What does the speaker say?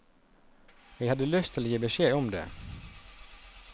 Jeg hadde lyst til å gi beskjed om det.